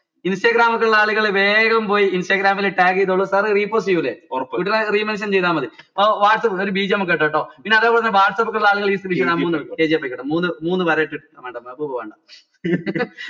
instagram ഒക്കെ ഇള്ള ആളുകൾ വേഗം പോയി instagram ൽ tag ചെയ്തോള ചെയ്യൂലെ re mention ചെയ്ത മതി ഒരു bgm ഒക്കെ ഇട്ടോ ട്ടോ പിന്നെ അതേപോലെ തന്നെ whatsapp ഒക്കെ ഇള്ള ആളുകൾ മൂന്ന് മൂന്ന് വര ഒക്കെ ഇട്ടിട്ട് വേണ്ട